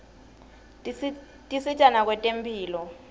tisita nakwetemphilo